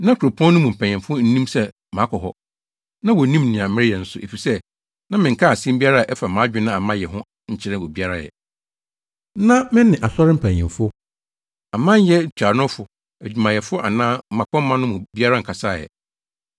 Na kuropɔn no mu mpanyimfo nnim sɛ makɔ hɔ, na wonnim nea mereyɛ nso, efisɛ na menkaa asɛm biara a ɛfa mʼadwene a mayɛ ho nkyerɛɛ obiara ɛ. Na me ne asɔre mpanyimfo, amanyɛ ntuanofo, adwumayɛfo anaa mmapɔmma no mu biara nkasaa ɛ.